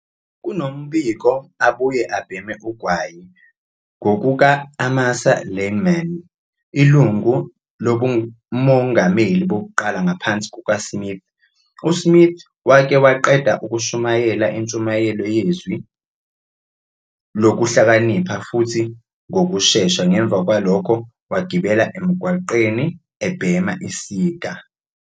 Kunombiko abuye abhema ugwayi- ngokuka-Amasa Lyman, ilungu lobuMongameli Bokuqala ngaphansi kukaSmith, uSmith wake waqeda ukushumayela intshumayelo yeZwi Lokuhlakanipha futhi ngokushesha ngemva kwalokho wagibela emigwaqweni ebhema isiga.